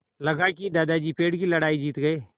लगा कि दादाजी पेड़ की लड़ाई जीत गए